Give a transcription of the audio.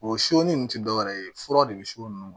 O nin te dɔwɛrɛ ye fura de bi s'o nunnu ma